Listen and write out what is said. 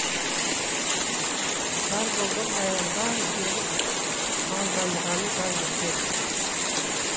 жарболдың баяғыдан бері малданғаны да жетер